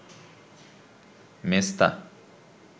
মেছতা